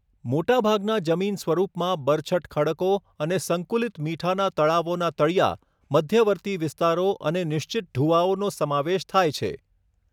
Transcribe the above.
મોટાભાગના જમીનસ્વરૂપમાં બરછટ ખડકો અને સંકુલિત મીઠાના તળાવોના તળિયા, મધ્યવર્તી વિસ્તારો અને નિશ્ચિત ઢૂવાઓનો સમાવેશ થાય છે.